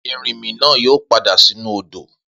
Erinmi náà yóò padà sínú odò.